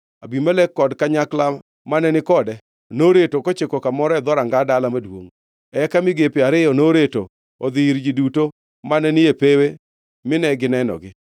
Abimelek kod kanyakla mane ni kode noreto kochiko kamoro e dhoranga dala maduongʼ. Eka migepe ariyo noreto odhi ir ji duto mane ni e pewe mine ginegogi duto.